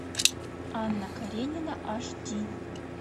анна каренина аш ди